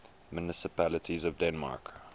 municipalities of denmark